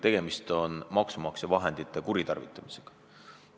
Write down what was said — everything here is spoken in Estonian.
Tegemist on maksumaksja raha kuritarvitamisega.